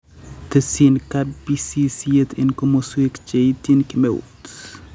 Tesyin kabisisiet en komoswek cheetyin kemeut